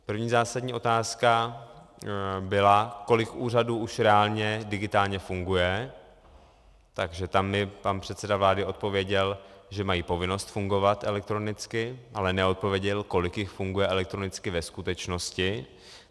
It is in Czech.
První zásadní otázka byla, kolik úřadů už reálně digitálně funguje, takže tam mi pan předseda vlády odpověděl, že mají povinnost fungovat elektronicky, ale neodpověděl, kolik jich funguje elektronicky ve skutečnosti.